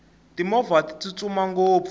timovha ti tsutsuma ngopfu